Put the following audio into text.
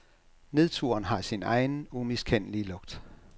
Nedturen har sin egen, umiskendelige lugt.